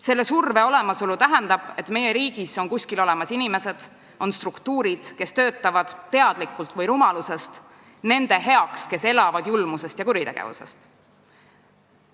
Selle surve olemasolu tähendab, et meie riigis on kuskil inimesed, on struktuurid, kes töötavad teadlikult või rumalusest nende heaks, kes elavad julmusest ja kuritegevusest.